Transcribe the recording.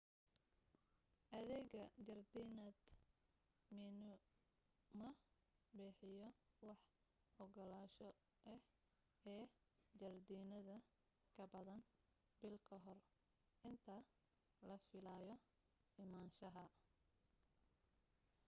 adeega jardiinada minae ma bixiyo wax ogolaansho ah ee jardiinada kabadan bil kahor inta la filaayo imaanshaha